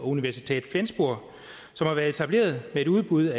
universität flensburg som har været etableret med et udbud